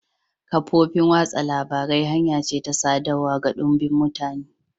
Kafofin watsa labarai hanya ce ta sadarwa ga dumbin mutane.